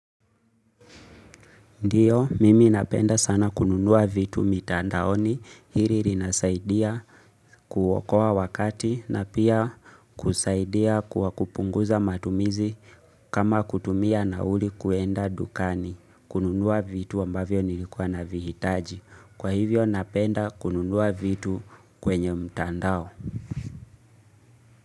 Ndiyo, mimi napenda sana kununua vitu mitandaoni. Hiri rinasaidia kuokoa wakati na pia kusaidia kuwa kupunguza matumizi kama kutumia na uli kuenda dukani. Kununua vitu ambavyo nilikuwa na vihitaji. Kwa hivyo napenda kununua vitu kwenye mtandao.